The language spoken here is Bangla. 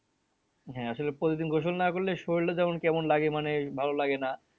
হ্যাঁ আসলে প্রতিদিন গোসল না করলে শরীরটা যেমন কেমন লাগে মানে ভালো লাগে না